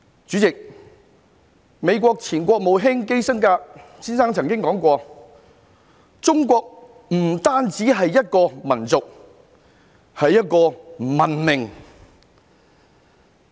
主席，美國前國務卿基辛格先生曾經說過，中國不單是一個民族，更是一個文明。